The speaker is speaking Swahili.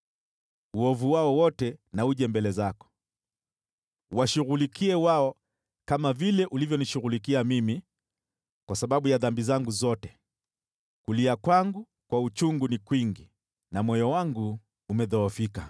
“Uovu wao wote na uje mbele zako; uwashughulikie wao kama vile ulivyonishughulikia mimi kwa sababu ya dhambi zangu zote. Kulia kwangu kwa uchungu ni kwingi na moyo wangu umedhoofika.”